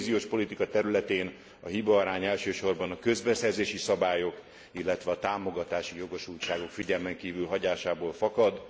A kohéziós politika területén a hibaarány elsősorban a közbeszerzési szabályok, illetve a támogatási jogosultságok figyelmen kívül hagyásából fakad.